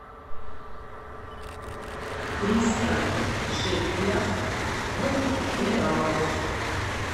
триста шекелях в реалах